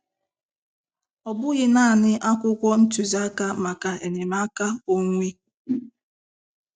Ọ bụghị naanị akwụkwọ ntuziaka maka enyemaka onwe.